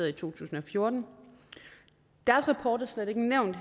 i to tusind og fjorten deres rapport er slet ikke nævnt